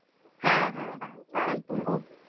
তারাই করে দেয়